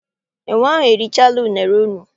Enwe ahụ erichara unere unu?